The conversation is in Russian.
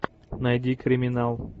найди криминал